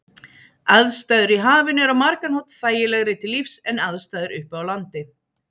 Aðstæður í hafinu eru á margan hátt þægilegri til lífs en aðstæður uppi á landi.